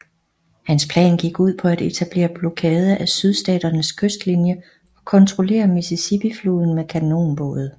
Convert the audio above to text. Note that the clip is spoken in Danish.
Hans plan gik ud på at etablere blokade af Sydstaternes kystlinie og kontrollere Mississippifloden med kanonbåde